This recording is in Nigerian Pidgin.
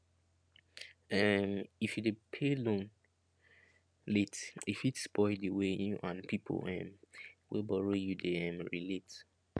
um if you dey pay loan late e fit spoil the way you and people um wey borrow you dey um relate